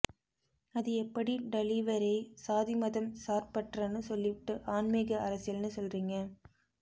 அது எப்படி டலீவரே சாதி மதம் சார்பற்றனு சொல்லிபுட்டு ஆன்மீக அரசியல்னு சொல்றீங்க